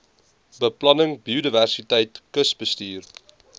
beplanning biodiversiteit kusbestuur